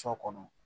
Sɔ kɔnɔ